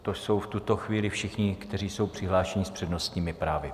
To jsou v tuto chvíli všichni, kteří jsou přihlášeni s přednostními právy.